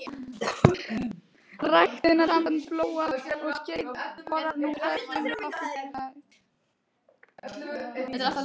Ræktunarsamband Flóa og Skeiða borar nú einnig vinnsluholur fyrir hitaveitur.